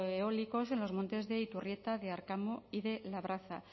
eólicos en los montes de iturrieta de arkamo y de labraza